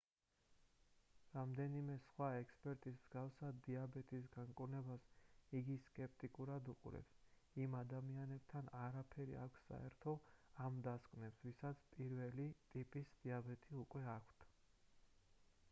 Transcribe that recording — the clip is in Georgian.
რამდენიმე სხვა ექსპერტის მსგავსად დიაბეტის განკურნებას იგი სკეპტიკურად უყურებს იმ ადამიანებთან არაფერი აქვს საერთო ამ დასკვნებს ვისაც 1-ელი ტიპის დიაბეტი უკვე აქვთ